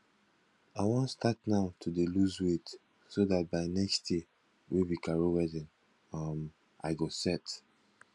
i wan start now to dey lose weight so dat by next year wey be carol wedding um i go set